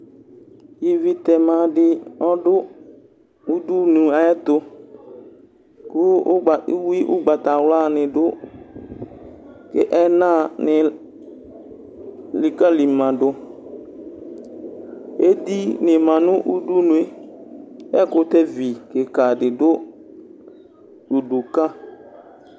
Ivi tɛma di ɔdʋ ʋdʋnʋ ayʋ ɛtʋ kʋ uwi ʋgbatawla ni dʋ ɛnani elikali madʋ edi ni manʋ ʋdʋnʋe kʋ ɛkʋtɛvi kika di dʋ ʋdʋ ka